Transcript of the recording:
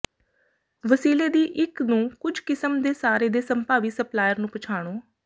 ਵਸੀਲੇ ਦੀ ਇੱਕ ਨੂੰ ਕੁਝ ਕਿਸਮ ਦੇ ਸਾਰੇ ਦੇ ਸੰਭਾਵੀ ਸਪਲਾਇਰ ਨੂੰ ਪਛਾਣੋ